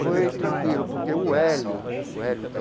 Foi tranquilo, porque o Hélio, o Hélio